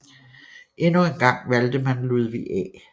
Endnu en gang valgte man Ludvig A